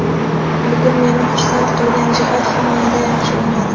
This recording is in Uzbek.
Bugun meni xursand qilgan jihat – himoyada yaxshi o‘ynadik.